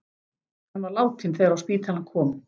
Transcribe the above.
Hann var látinn þegar á spítalann kom.